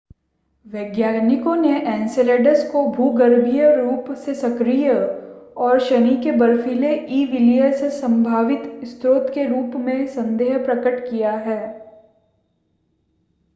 वैज्ञानिकों ने एन्सेलेडस को भूगर्भीय रूप से सक्रिय और शनि के बर्फीले ई वलय के संभावित स्रोत के रूप में संदेह प्रकट किया है